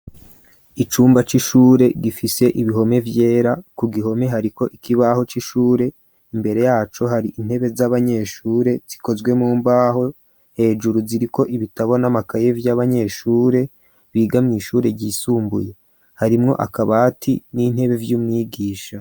Icumba c'ishure gifise ibihome vyera, ku gihome hariko ikibaho c'ishure, imbere yacu hari intebe z'abanyeshure zikozwe mumbaho hejuru ziriko ibitabo n'amakaye vy'abanyeshure biga mw'ishure ryisumbuye harimwo akabati n'intebe vy'umwigisha.